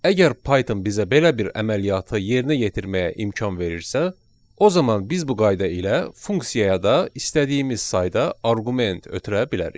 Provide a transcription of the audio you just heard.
Əgər Python bizə belə bir əməliyyatı yerinə yetirməyə imkan verirsə, o zaman biz bu qayda ilə funksiyaya da istədiyimiz sayda arqument ötürə bilərik.